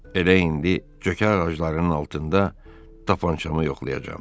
Elə indi cökə ağaclarının altında tapançamı yoxlayacam.